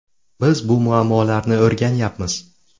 Biz bu muammolarni o‘rganyapmiz.